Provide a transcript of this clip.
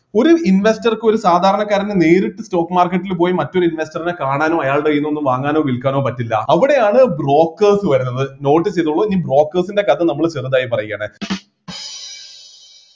ഒരു investor ക്ക് ഒരു സാധാരണക്കാരന് നേരിട്ട് stock market ൽ പോയി മറ്റൊരു investor നെ കാണാനോ അയാളുടെ കൈയിൽ നിന്ന് ഒന്നും വാങ്ങാനോ വിൽക്കാനോ പറ്റില്ല അവിടെയാണ് brokers വരണത് note ചെയ്തോളൂ ഈ brokers ൻ്റെ കഥ നമ്മള് ചെറുതായി പറയുകയാണ്